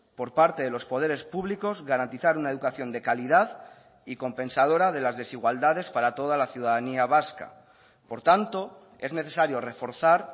por parte de los poderes públicos garantizar una educación de calidad y compensadora de las desigualdades para toda la ciudadanía vasca por tanto es necesario reforzar